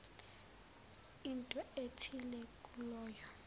into ethile kuloyo